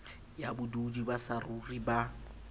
ya bodudi ba saruri ba